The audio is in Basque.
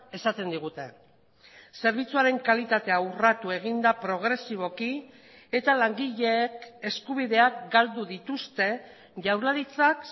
esaten digute zerbitzuaren kalitatea urratu egin da progresiboki eta langileek eskubideak galdu dituzte jaurlaritzak